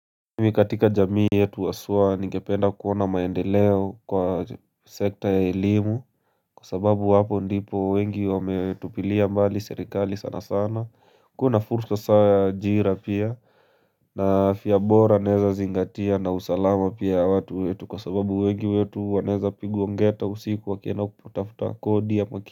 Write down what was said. Mimi katika jamii yetu haswa ningependa kuona maendeleo kwa sekta ya elimu Kwa sababu hapo ndipo wengi wametupilia mbali serikali sana sana kua na fursa sa ya ajira pia na afya bora naeza zingatia na usalama pia ya watu wetu kwa sababu wengi wetu wanaeza pigwa ngeta usiku wakienda kutafuta kodi ama.